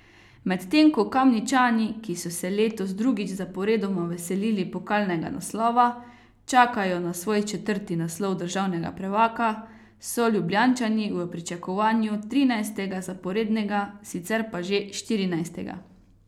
Medtem ko Kamničani, ki so se letos drugič zaporedoma veselili pokalnega naslova, čakajo na svoj četrti naslov državnega prvaka, so Ljubljančani v pričakovanju trinajstega zaporednega, sicer pa že štirinajstega.